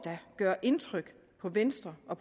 gøre indtryk på venstre og